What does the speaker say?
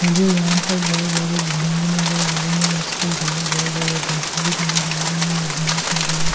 मुझे यहां पर बहुत ज्यादा बिल्डिंगें नजर आ रही है उसके अलावा बहुत ज्यादा दरख्त भी नजर आ रहे हैं और यहां पर बहुत--